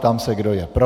Ptám se, kdo je pro.